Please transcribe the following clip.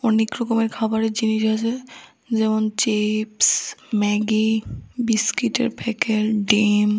অনেক রকমের খাবারের জিনিস আছে যেমন চিপস ম্যাগি বিস্কিটের প্যাকেট ডিম।